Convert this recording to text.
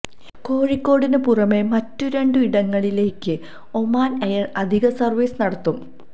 കോഴിക്കോടിന് പുറമെ മറ്റു രണ്ടിടങ്ങളിലേക്കും ഒമാൻ എയർ അധിക സർവിസ് നടത്തും